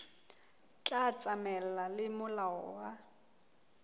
tla tsamaelana le molao wa